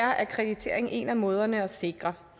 akkreditering er en af måderne at sikre